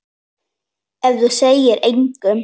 Ef þú segir engum.